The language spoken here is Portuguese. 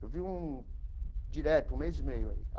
Eu vi um direto, um mês e meio aí.